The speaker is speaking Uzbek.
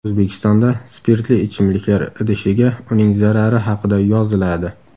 O‘zbekistonda spirtli ichimliklar idishiga uning zarari haqida yoziladi.